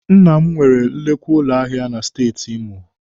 Nna m nwere nnukwu ụlọ ahịa na Steeti Imo